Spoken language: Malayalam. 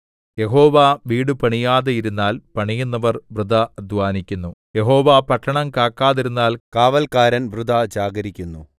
യഹോവ വീടു പണിയാതിരുന്നാൽ പണിയുന്നവർ വൃഥാ അദ്ധ്വാനിക്കുന്നു യഹോവ പട്ടണം കാക്കാതിരുന്നാൽ കാവല്ക്കാരൻ വൃഥാ ജാഗരിക്കുന്നു